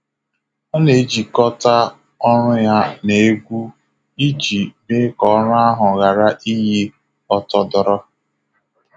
Ọ na-ejikọta ọrụ ya na egwu iji mee ka ọrụ ahụ ghara iyi ọtọdoro.